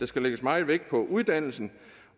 skal lægges meget vægt på uddannelsen